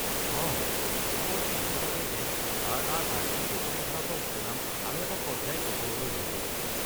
অঁ, মোৰ এনে লাগে যেন আৰ.আৰ.আৰ-এ দক্ষিণ ভাৰতৰ সুনাম আৰু এটা পৰ্য্যায় ওপৰলৈ লৈ গ’ল।